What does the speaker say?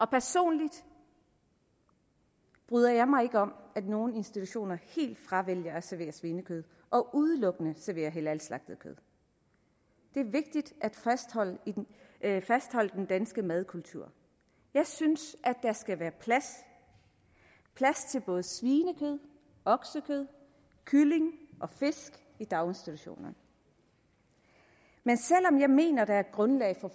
personligt bryder jeg mig ikke om at nogle institutioner helt fravælger at servere svinekød og udelukkende serverer halalslagtet kød det er vigtigt at fastholde den danske madkultur jeg synes der skal være plads til både svinekød oksekød kylling og fisk i daginstitutioner men selv om jeg mener der er grundlag for